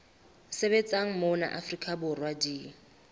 sebetsang mona afrika borwa di